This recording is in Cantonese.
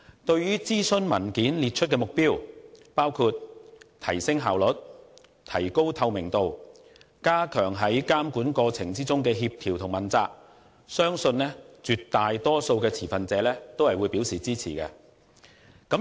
對於諮詢文件列出的目標，包括提升效率、提高透明度及加強在監管過程中的協調和問責，我相信絕大多數的持份者都會表示支持。